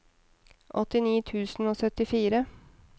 åttini tusen og syttifire